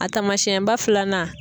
A taamasiyɛnba filanan.